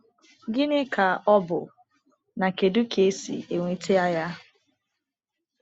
Gịnị ka ọ bụ, na kedu ka e si enweta ya?